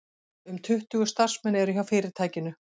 Um tuttugu starfsmenn eru hjá fyrirtækinu